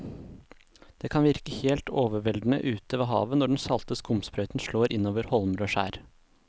Det kan virke helt overveldende ute ved havet når den salte skumsprøyten slår innover holmer og skjær.